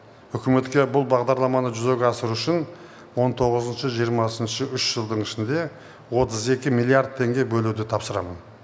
үкіметке бұл бағдарламаны жүзеге асыру үшін он тоғызыншы жиырмасыншы үш жылдың ішінде отыз екі миллиард теңге бөлуді тапсырамын